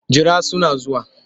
Jira suna zuwa.